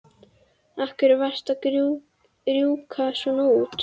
Af hverju varstu að rjúka svona út?